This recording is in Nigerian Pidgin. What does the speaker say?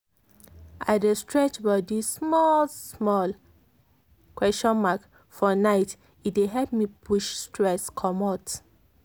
i dey stretch body small-small question mark for night e dey help me push stress commot.